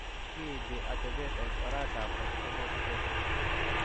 Kiinti atepet ni eng' oretap Autosomal recessive.